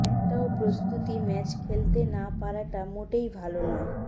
একটাও প্রস্তুতি ম্যাচ খেলতে না পারাটা মোটেই ভাল নয়